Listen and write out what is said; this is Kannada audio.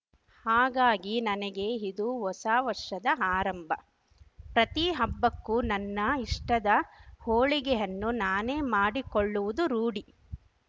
ಹಾಗಾಗಿ ನನಗೆ ಇದು ಹೊಸ ವರ್ಷದ ಆರಂಭ ಪ್ರತಿ ಹಬ್ಬಕ್ಕೂ ನನ್ನ ಇಷ್ಟದ ಹೋಳಿಗೆಯನ್ನು ನಾನೇ ಮಾಡಿಕೊಳ್ಳವುದು ರೂಢಿ